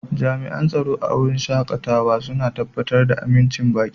Jami'an tsaro a wurin shakatawa suna tabbatar da amincin baƙi.